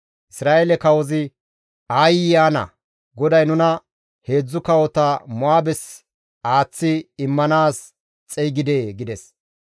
Isra7eele kawozi, «Aayye ana! GODAY nuna heedzdzu kawota Mo7aabes aaththi immanaas xeygidee?» gides.